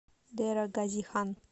дера гази хан